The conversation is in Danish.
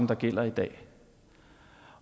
der gælder i dag